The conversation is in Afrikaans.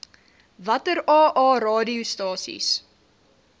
watter aa radiostasies